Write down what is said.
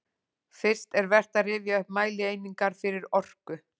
Fyrst er vert að rifja upp mælieiningar fyrir orku.